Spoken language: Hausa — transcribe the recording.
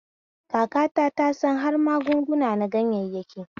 Kakata ta san har magunguna na ganyayyaki